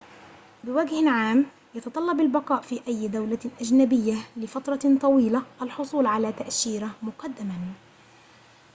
بوجه عام يتطلب البقاء في أي دولة أجنبية لفترة طويلة الحصول على تأشيرة مقدماً